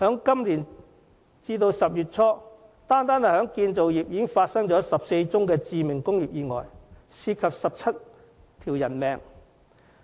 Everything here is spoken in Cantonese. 今年截至10月初，單是建造業已發生14宗致命工業意外，涉及17條人命。